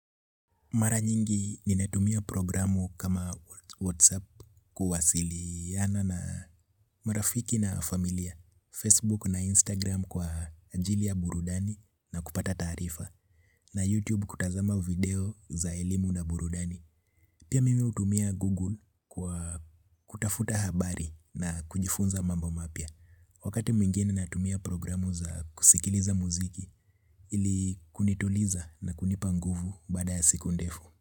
Maranyingi nimetumia programu kama Whatsapp kuwasiliana na marafiki na familia, Facebook na Instagram kwa ajili ya burudani na kupata tarifa, na YouTube kutazama video za elimu na burudani. Pia mimi utumia Google kwa kutafuta habari na kujifunza mambo mapia. Wakati mwingine natumia programu za kusikiliza muziki ili kunituliza na kunipanguvu bada ya siku ndefu.